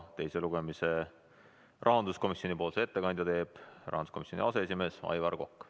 Teisel lugemisel teeb rahanduskomisjoni ettekande rahanduskomisjoni aseesimees Aivar Kokk.